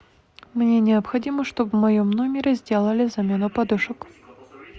мне необходимо чтобы в моем номере сделали замену подушек